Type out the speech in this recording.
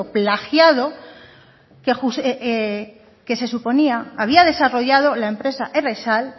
plagiado que se suponía había desarrollado la empresa errexal